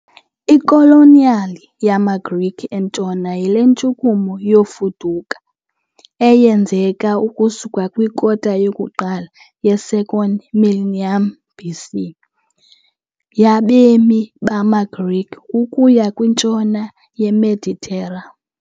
Ikoloniyali yamaGrike eNtshona yile ntshukumo yokufuduka, eyenzeka ukusuka kwikota yokuqala ye -2nd millennium BC, yabemi bamaGrike ukuya kwintshona yeMeditera .